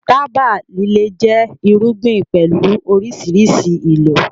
Tábà líle jẹ́ irúgbìn pẹ̀lú oríṣiríṣi ìlò